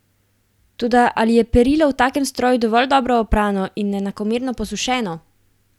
Toda ali je perilo v takem stroju dovolj dobro oprano in enakomerno posušeno?